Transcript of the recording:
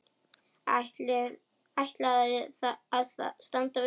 Ætlaði að standa við það.